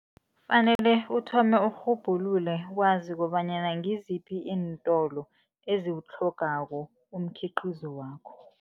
Fanele uthome urhubhulule, wazi kobanyana ngiziphi iintolo eziwutlhogako umkhiqizo wakho.